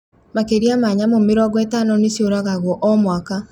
Makĩria ma nyamũ mĩrongo ĩtano nĩciũragagwo o,mwaka